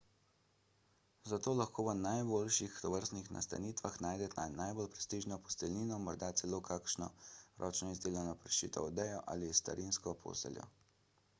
zato lahko v najboljših tovrstnih nastanitvah najdete najbolj prestižno posteljnino morda celo kakšno ročno izdelano prešito odejo ali starinsko posteljo